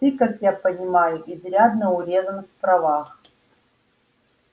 ты как я понимаю изрядно урезан в правах